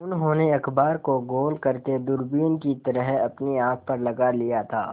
उन्होंने अखबार को गोल करने दूरबीन की तरह अपनी आँख पर लगा लिया था